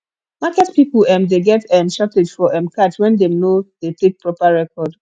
market pipo um de get um shortage for um cash when dem no de take take proper record